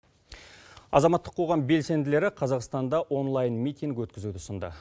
азаматтық қоғам белсенділері қазақстанда онлайн митинг өткізуді ұсынды